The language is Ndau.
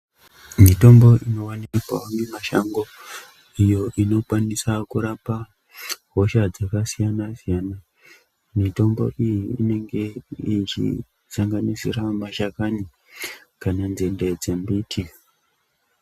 Mitombo inowanikwa mumashango iyo inokwanisa kurapa hosha dzakasiyana siyana mitombo iyi inenge ichisanganisira mashakani kana nzinde dzembiti.